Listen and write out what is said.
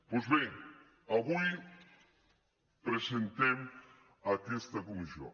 doncs bé avui presentem aquesta comissió